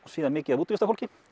síðan mikið af útivistarfólki